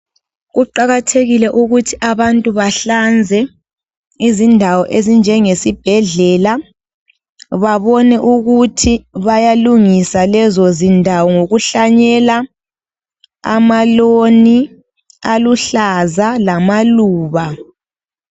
Kuqakathekile ukuthi abantu bahlanze izindawo ozinjenge sibhedlela .Babone ukuthi bayalungisa lezo zindawo ngokuhlanyela amaloni aluhlaza lamaluba.